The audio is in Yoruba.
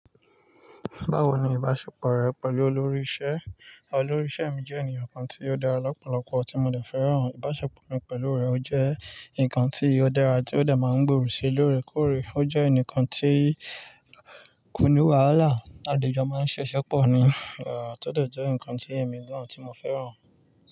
Báwo ni ìbáṣepọ̀ rẹ pẹ̀lú olórí iṣẹ? Olórí iṣẹ mi jẹ́ ènìyàn kan tí ó da lọ́pọ̀lọpọ̀ tí mo dẹ fẹ́ràn. Ìbáṣepọ̀ mi pẹ̀lú rẹ̀ ò jẹ́ ǹkan tí ó dára tí ó dẹ máa ń gbòòrò si lóore kóòrè. Ó jẹ́ ẹnikan tí kò ní wàhálà, a dẹ ń jọ máa ń ṣe iṣẹ pọ̀ ni, à to dẹ jẹ́ ǹkan tí èmi náà tí mo fẹ́ràn.